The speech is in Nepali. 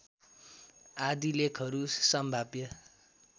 आदि लेखहरू सम्भाव्य